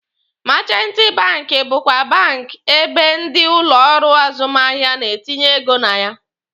Meechanti banki bụkwa bank ebe ndị ụlọ ọrụ azụmahịa na-etinye ego na ya.